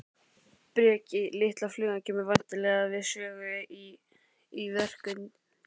Breki: Litla flugan kemur væntanlega við sögu í, í verkinu?